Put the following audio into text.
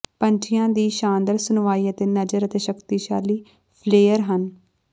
ਪੰਛੀਆਂ ਦੀ ਸ਼ਾਨਦਾਰ ਸੁਣਵਾਈ ਅਤੇ ਨਜ਼ਰ ਅਤੇ ਸ਼ਕਤੀਸ਼ਾਲੀ ਫਲੇਅਰ ਹਨ